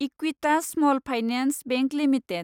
Equitas small finance bank limited